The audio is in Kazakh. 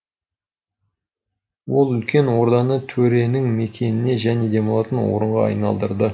ол үлкен орданы төренің мекеніне және демалатын орынға айналдырды